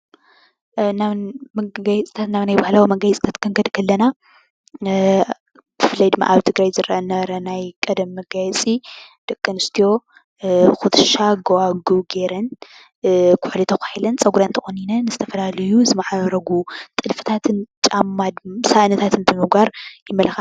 ናብ መገየፅታት ባህላዊ መጋየፅታት ክንከድ ከለና ብፍላይ ድማ ኣብ ትግራይ ደቂ ኣንስትዮ ጉትሻ ,ጎባጉም ገይረን ኩሑሊ ተኳሒለን ፀጉሬን ተቆኒነን ጥልፊ ጥልፍታትን ጫማታትን ሳእንታትን ብምግባር ይማላካዓ።